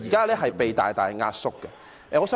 現時被大大縮壓。